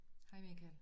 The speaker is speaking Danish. Hej Michael